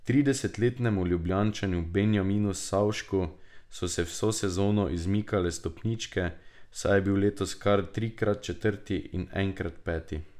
Tridesetletnemu Ljubljančanu Benjaminu Savšku so se vso sezono izmikale stopničke, saj je bil letos kar trikrat četrti in enkrat peti.